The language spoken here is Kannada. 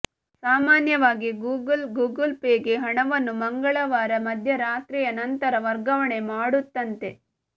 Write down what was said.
ಸಾಮಾನ್ಯವಾಗಿ ಗೂಗಲ್ ಗೂಗಲ್ ಪೇಗೆ ಹಣವನ್ನು ಮಂಗಳವಾರ ಮಧ್ಯರಾತ್ರಿಯ ನಂತರ ವರ್ಗಾವಣೆ ಮಾಡುತ್ತಂತೆ